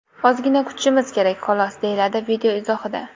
Ozgina kutishimiz kerak xolos”, deyiladi video izohida.